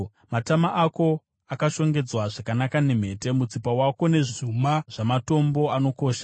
Matama ako akashongedzwa zvakanaka nemhete, mutsipa wako nezvuma zvamatombo anokosha.